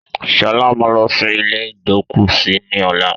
Sọlá máa lọ sí ilé igbókúsí ni ọ̀la